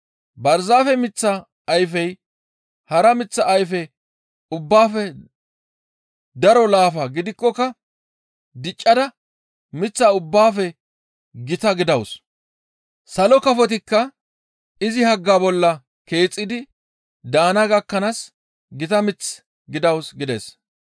Barzaafe miththa ayfey hara miththa ayfe ubbaafe daro laafa gidikkoka diccada miththa ubbaafe gita gidawus. Salo kafotikka izi hagga bolla keexxidi daana gakkanaas gita mith gidawus» gides.